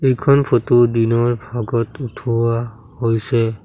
এইখন ফটো দিনৰ ভাগত উঠোৱা হৈছে।